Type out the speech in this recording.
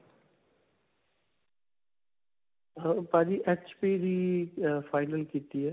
ਹਾਂ ਭਾਜੀ HP ਦੀ ਅਅ final ਕੀਤੀ ਹੈ.